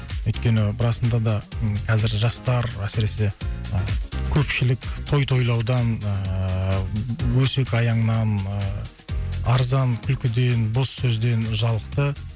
өйткені расында да қазір жастар әсіресе ы көпшілік той тойлаудан ыыы өсек аяңнан ыыы арзан күлкіден бос сөзден жалықты